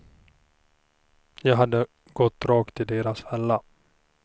Jag hade gått rakt i deras fälla.